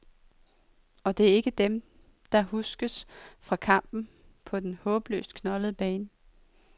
Og det er ikke dem, der huskes fra kampen på den håbløst knoldede bane.